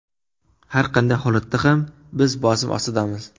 Har qanday holatda ham, biz bosim ostidamiz.